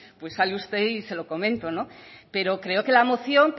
pues sale usted y se lo comento pero creo que la moción